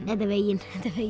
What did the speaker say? þetta er veginn